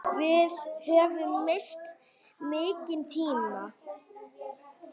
Við höfum misst mikinn tíma.